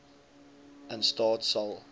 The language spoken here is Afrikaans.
in staat sal